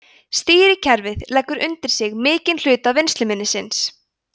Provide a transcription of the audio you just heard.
stýrikerfið leggur undir sig mikinn hluta vinnsluminnisins